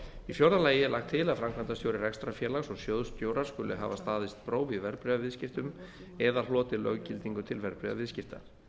í fjórða lagi er lagt til að framkvæmdastjóri rekstrarfélags og sjóðstjórar skuli hafa staðist próf í verðbréfaviðskiptum eða hlotið löggildingu til verðbréfaviðskipta